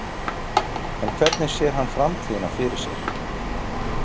En hvernig sér hann framtíðina fyrir sér?